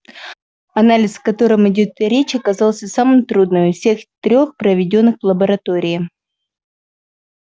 анализ о котором идёт речь оказался самым трудным из всех трёх проведённых в лаборатории